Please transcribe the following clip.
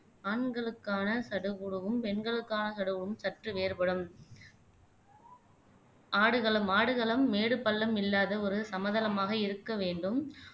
ஆண்களுக்கான சடுகுடுவும் பெண்களுக்கான சடுகுடுவும் சற்று வேறுபடும் ஆடுகளம் ஆடுகளம் மேடு பள்ளம் இல்லாத ஒரு சமதளமாக இருக்க வேண்டும்